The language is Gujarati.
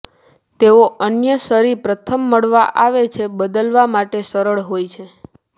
તેઓ અન્ય છરી પ્રથમ મળવા આવે છે બદલવા માટે સરળ હોય છે